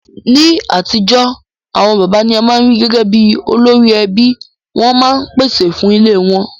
Ní atijọ́, àwon bàbá ni a ma n ri gẹgẹ bi olórí ẹbí, won ma n pèsè fun ilé won